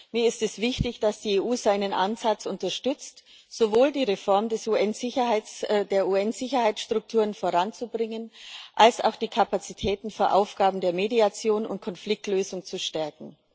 Mir ist es wichtig, dass die EU seinen Ansatz unterstützt, sowohl die Reform der UN-Sicherheitsstrukturen voranzubringen als auch die Kapazitäten für Aufgaben der Mediation und Konfliktlösung zu stärken.